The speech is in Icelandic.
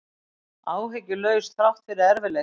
Áhyggjulaus þrátt fyrir erfiðleika